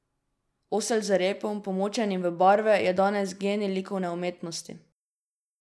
Osel z repom, pomočenim v barve, je danes genij likovne umetnosti!